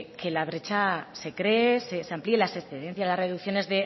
que la brecha se cree se amplíe las excedencias las reducciones